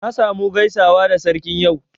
Na sa mu gaisawa da Sarkin yau